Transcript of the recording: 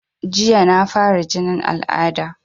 Jiya na fara jinin al'ada